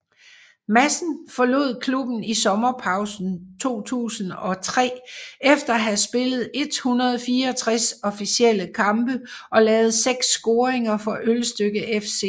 Madsen forlod klubben i sommerpausen 2003 efter at have spillet 164 officielle kampe og lavet seks scoringer for Ølstykke FC